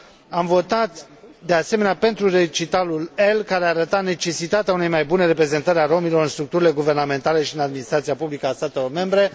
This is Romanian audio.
Am votat, de asemenea, pentru recitalul L, care arăta necesitatea unei mai bune reprezentări a romilor în structurile guvernamentale și în administrația publică a statelor membre.